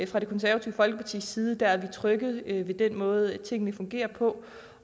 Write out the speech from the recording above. fra det konservative folkepartis side er vi trygge ved den måde tingene fungerer på